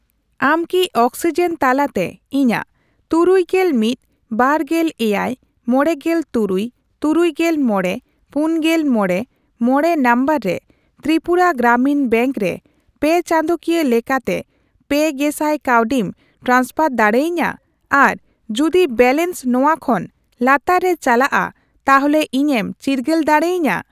ᱟᱢ ᱠᱤ ᱚᱠᱥᱤᱡᱮᱱ ᱛᱟᱞᱟᱛᱮ ᱤᱧᱟᱜ ᱛᱩᱨᱩᱭᱜᱮᱞ ᱢᱤᱫ, ᱵᱟᱨᱜᱮᱞ ᱮᱭᱟᱭ, ᱢᱚᱲᱮᱜᱮᱞ ᱛᱩᱨᱩᱭ, ᱛᱩᱨᱩᱭᱜᱮᱞ ᱢᱚᱲᱮ, ᱯᱩᱱᱜᱮᱞ ᱢᱚᱲᱮ, ᱢᱚᱲᱮ ᱱᱚᱢᱵᱚᱨ ᱨᱮ ᱛᱨᱤᱯᱩᱨᱟ ᱜᱨᱟᱢᱤᱱ ᱵᱮᱝᱠ ᱨᱮ ᱯᱮᱼᱪᱟᱸᱫᱳᱠᱤᱭᱟᱹ ᱞᱮᱠᱟᱛᱮ ᱯᱮ ᱜᱮᱥᱟᱭ ᱠᱟᱹᱣᱰᱤᱢ ᱴᱨᱟᱱᱥᱯᱷᱟᱨ ᱫᱟᱲᱮᱭᱟᱹᱧᱟ ᱟᱨ ᱡᱩᱫᱤ ᱵᱮᱞᱮᱱᱥ ᱱᱚᱣᱟ ᱠᱷᱚᱱ ᱞᱟᱛᱟᱨ ᱛᱮ ᱪᱟᱞᱟᱜᱼᱟ ᱛᱟᱦᱚᱞᱮ ᱤᱧᱮᱢ ᱪᱤᱨᱜᱟᱹᱞ ᱫᱟᱲᱮᱭᱟᱹᱧᱟ ?